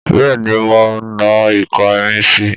Bẹ́ẹ̀ni mo na ìka mi si